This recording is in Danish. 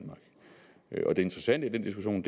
interessante i den diskussion